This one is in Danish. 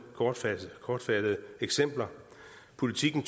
kortfattede kortfattede eksempler politiken